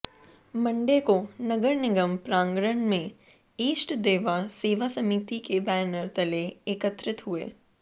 Monday को नगर निगम प्रांगण में ईष्ट देव सेवा समिति के बैनर तले एकत्रित हुए